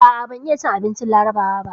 A'a, ban iya cin abincin Larabawa ba.